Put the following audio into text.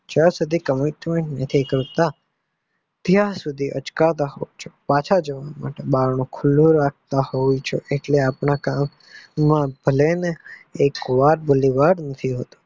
જ્યાં સુધી commentment નથી કરતા ત્યાં સુધી અચકાતા હોય છે પાંચ જવા માટે બારણું ખુલ્લું રાખતા હોય છે એટલે આપણા કામ માં ભલે ને એક વાર ભલીવાર નથી હોતું.